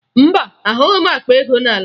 Mba, ahụghị m akpa ego n'ala